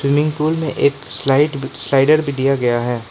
Swimming pool मे एक slide slider भी दिया गया है।